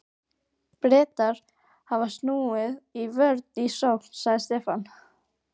Bretar hafa snúið vörn í sókn, sagði Stefán.